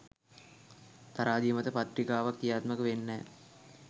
තරාදිය මත ප්‍රතික්‍රියාවක් ක්‍රියාත්මක වෙන්නෙ නෑ